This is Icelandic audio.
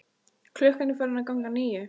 Klukkan er farin að ganga níu.